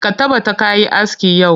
Ka tabbata ka yi aski yau!